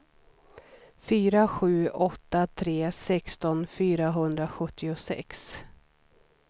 fyra sju åtta tre sexton fyrahundrasjuttiosex